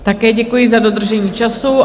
Také děkuji za dodržení času.